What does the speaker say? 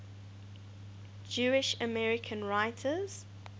jewish american writers